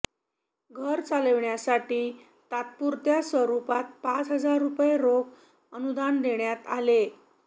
घर चालविण्यासाठी तात्पुरत्या स्वरुपात पाच हजार रुपये रोख अनुदान देण्यात आले